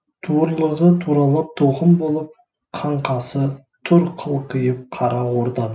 туырлығы туралып тоқым болып қаңқасы тұр қылқиып қара орданың